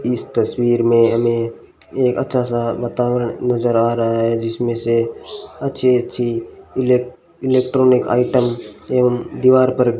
इस तस्वीर में हमें ये अच्छा सा वातावरण नजर आ रहा है जिसमें से अच्छे अच्छे इलेक्ट्रॉनिक आइटम एवं दीवार पर --